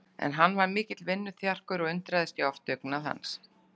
En hann var mikill vinnuþjarkur og undraðist ég oft dugnað hans.